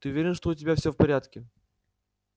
ты уверен что у тебя всё в порядке